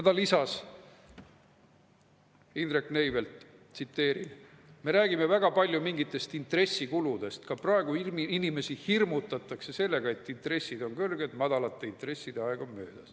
Indrek Neivelt lisas: "Me räägime väga palju mingitest intressikuludest, ka praegu inimesi hirmutatakse sellega, et intressid on kõrged, madalate intresside aeg on möödas.